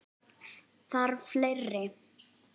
Þarf fleiri?